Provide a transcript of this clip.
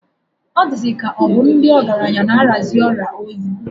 Ọ dịzịka ọ bụ ndị ọgaranya na-arịazi ọrịa oyi.